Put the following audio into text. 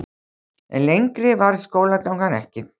En lengri varð skólagangan ekki.